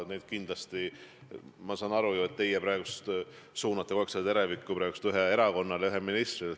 Ma saan aru ju, et te praegu suunate kogu aeg teravikku ühele erakonnale, ühele ministrile.